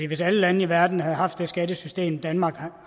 hvis alle lande i verden havde haft det skattesystem danmark